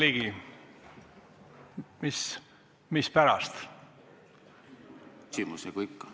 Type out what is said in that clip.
Jürgen Ligi, mispärast?